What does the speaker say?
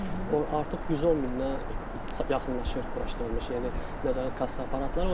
O artıq 110 mindən yaxınlaşır quraşdırılmış yeni nəzarət kassa aparatlar.